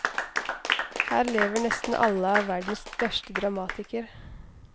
Her lever nesten alle av verdens største dramatiker.